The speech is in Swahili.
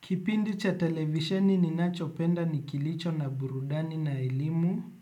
Kipindi cha televisheni ninachopenda ni kilicho na burudani na elimu